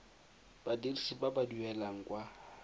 badirisi ba ba duelang kwa